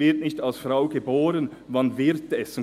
«Man wird nicht als Frau geboren, man wird es.»